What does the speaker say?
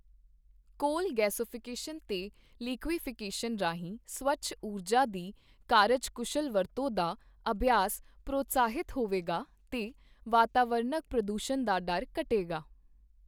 ਕੋਲ ਗੈਸੀਫ਼ਿਕੇਸ਼ਨ ਤੇ ਲਿਕੁਈਫ਼ੈਕਸ਼ਨ ਰਾਹੀਂ ਸਵੱਛ ਊਰਜਾ ਦੀ ਕਾਰਜਕੁਸ਼ਲ ਵਰਤੋਂ ਦਾ ਅਭਿਆਸ ਪ੍ਰੋਤਸਾਹਿਤ ਹੋਵੇਗਾ ਤੇ ਵਾਤਾਵਰਣਕ ਪ੍ਰਦੂਸ਼ਣ ਦਾ ਡਰ ਘਟੇਗਾ।